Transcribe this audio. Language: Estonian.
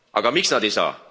Aga miks nad ei saa?